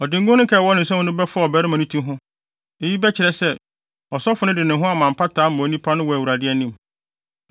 Ɔde ngo no nkae a ɛwɔ ne nsam no bɛfɔw ɔbarima no ti ho. Eyi bɛkyerɛ sɛ, ɔsɔfo no de ne ho ayɛ mpata ama onipa no wɔ Awurade anim.